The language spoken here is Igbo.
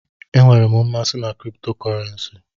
Enwere m mmasị na kripto kọrensi.